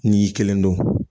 N'i y'i kelen don